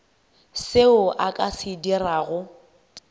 seo a ka se dirago